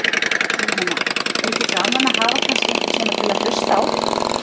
Jóhanna: Er ekki gaman að hafa kannski einhvern svona til að hlusta á þig?